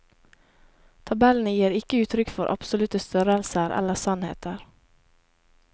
Tabellene gir ikke uttrykk for absolutte størrelser eller sannheter.